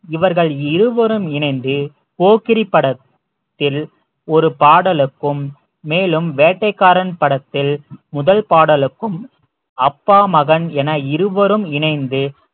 இவர்கள் இருவரும் இணைந்து போக்கிரி படத்தில் ஒரு பாடலுக்கும் மேலும் வேட்டைக்காரன் படத்தில் முதல் பாடலுக்கும் அப்பா மகன் என இருவரும் இணைந்து